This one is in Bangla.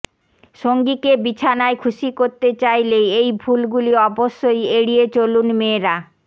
সঙ্গীকে বিছানায় খুশি করতে চাইলে এই ভুলগুলি অবশ্যই এড়িয়ে চলুন মেয়েরা